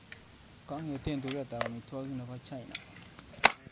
Kong'ete tuket ab amitwogik nebo China.